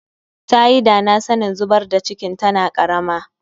Tayi dana sanin zubar da cikin tana karama